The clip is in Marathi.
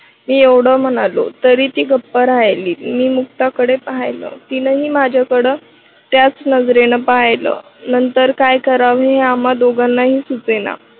मी एवढं म्हणालो तरी ती गप्प राहिली मी मुक्ताकडे पाहिलं तीनही माझ्याकडं त्याच नजरेने पाहिलं. नंतर काय करावं हे आम्हाला दोघांनाही सुचेना.